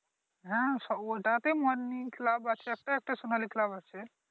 হ্যাঁ ওটাতেই Morning club আছে একটা, একটাসোনালি ক্লাব আছে ।